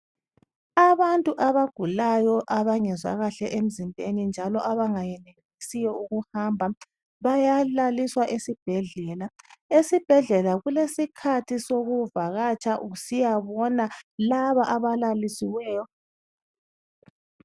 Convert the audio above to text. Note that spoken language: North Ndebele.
abantu abagulayo abangezwa kahle emzimbeni njalo abangenelisiyo ukuhamba bayalaliswa esibhedlela ,esibhedlela kulesikhathi sokuvakatsha usiyabona laba abalalisiweyo